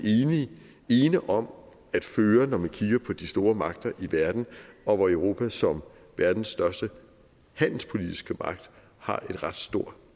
ene om at føre når man kigger på de store magter i verden og hvor europa som verdens største handelspolitiske magt har en ret stor